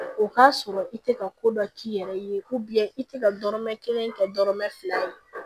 O k'a sɔrɔ i tɛ ka ko dɔ k'i yɛrɛ ye i tɛ ka dɔrɔmɛ kelen kɛ dɔrɔmɛ fila ye